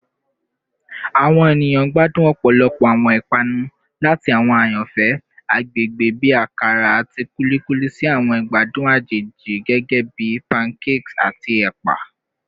Awọn eniyan gbadun ọpọlọpọ awọn ipanu, lati awọn ayanfẹ agbegbe bi akara ati kulikuli si awọn igbadun ajeji gẹgẹbi pancakes ati ẹpa.